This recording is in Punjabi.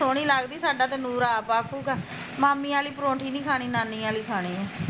ਸੋਹਣੀ ਲੱਗਦੀ ਸਾਡਾ ਤੇ ਨੂਰ ਆਪ ਆਖੂਗਾ ਮਾਮੀ ਆਲੀ ਪਰੋਂਠੀ ਨੀ ਕਹਾਣੀ ਨਾਨੀ ਆਲੀ ਖਾਣੀ ਐ